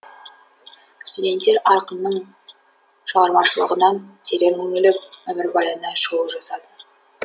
студенттер ақынның шығармашлығынан терең үңіліп өмірбаянына шолу жасады